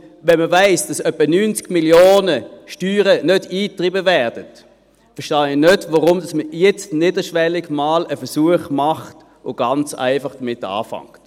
Wenn man weiss, dass etwa 90 Mio. Franken Steuergelder nicht eingetrieben werden, verstehe ich nicht, warum man jetzt nicht einen niederschwelligen Versuch macht und ganz einfach damit anfängt.